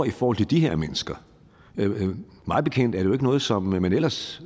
i forhold til de her mennesker mig bekendt er det jo ikke noget som man ellers